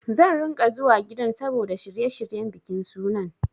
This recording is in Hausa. Zan ringa zuwa gidan saboda shirye-shiryen bikin sunan.